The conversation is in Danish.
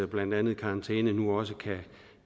blandt andet karantæne nu også